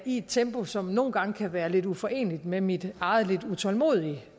i et tempo som nogle gange kan være lidt uforeneligt med mit eget lidt utålmodige